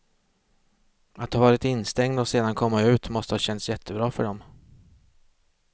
Att ha varit instängd och sedan komma ut måste ha känts jättebra för dem.